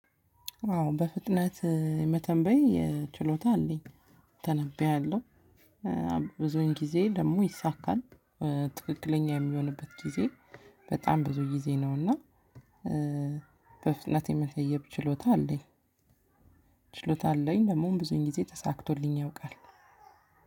አዎ በፍጥነት እ የመተንበይ እ ችሎታ አለኝ። ተነብያለሁ እ ብዙን ጊዜ ደግሞ ይሳካል እ ትክክለኛ የሚሆንበት ጊዜ በጣም ብዙ ጊዜ ነውና። እ በፍጥነት የመተንበይ ችሎታ አለኝ። ችሎታ አለኝ ደግሞም ብዙ ጊዜ ተሳክቶልኝ ያውቃል።